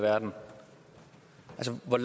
herre rené